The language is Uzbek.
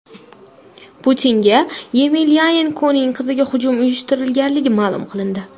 Putinga Yemelyanenkoning qiziga hujum uyushtirilgani ma’lum qilindi.